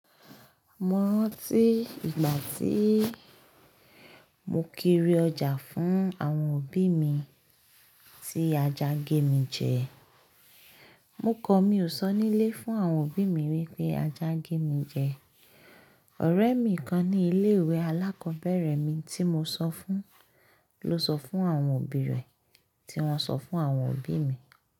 Mo rántí ìgbà tí mo kiri ọjà fún àwọn òbí mi tí ajá gé mi jẹ. Mo kọ mi ò sọ nílé fún àwọn òbí mi wípé ajá gé mi jẹ. Ọ̀rẹ́ mi kan ní ilé ìwé alákọ̀ọ́bẹ̀rẹ̀ mi tí mo sọ fún ló sọ fún àwọn òbí rẹ̀, tí wón sọ fún àwọn òbí mi.